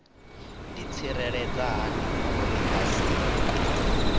ḓitsireledza hani uri vha si